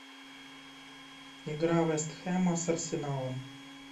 игра вест хэма с арсеналом